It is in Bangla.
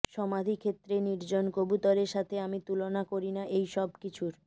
সমাধিক্ষেত্রে নির্জন কবুতরের সাথে আমি তুলনা করি না এইসবকিছুর